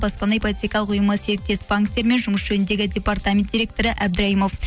баспана ипотекалық ұйымы серіктес банктер мен жұмыс жөніндегі департамент директоры әбдірайымов